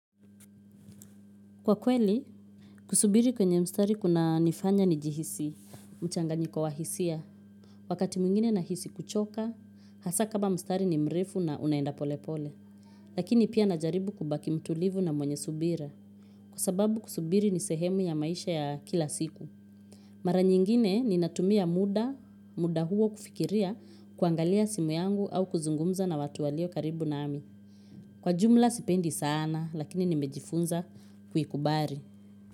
Kwa kweli, kusubiri kwenye mstari kunanifanya nijihisi mchanganyiko wa hisia. Wakati mwingine nahisi kuchoka, hasa kama mstari ni mrefu na unaenda pole pole. Lakini pia najaribu kubaki mtulivu na mwenye subira. Kwa sababu kusubiri ni sehemu ya maisha ya kila siku. Mara nyingine ninatumia muda, muda huo kufikiria, kuangalia simu yangu au kuzungumza na watu walio karibu nami. Kwa jumla sipendi sana, lakini nimejifunza kuikubari.